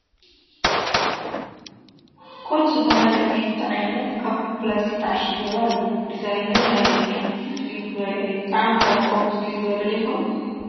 ኮጅ ዝበሃል ናይ ብሽኩቲ ዓይነት ኣብ ፕላስቲ ተዓሺጉ ይርአ ኣሎ፡፡ ዲዛይን ናይዚ ብሽኩቲ ፍልይ ዝበለ እዩ፡፡ ጣዕሙ ኸ ከምኡ ፍልይ ዝበለ ዶ ይኸውን?